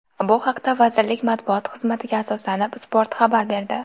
Bu haqda, vazirlik matbuot xizmatiga asoslanib, Spot xabar berdi .